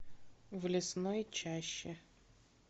в лесной чаще